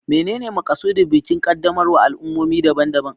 Menene makasudin bukin qaddamarwar al'ummomi daban-daban?